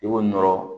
I b'o nɔrɔ